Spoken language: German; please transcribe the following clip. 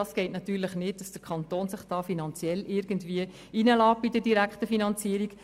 Es geht natürlich nicht, dass der Kanton hier direkt finanziert.